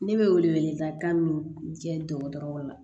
Ne bɛ wele wele da kan min kɛ dɔgɔtɔrɔw la